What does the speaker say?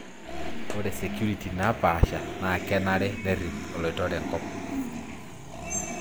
Ore security naapasha naa kenarikino nerip oloitore enkop.